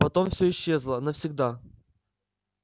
потом всё исчезло навсегда